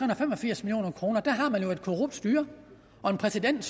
og fem og firs million kroner har man jo et korrupt styre og en præsident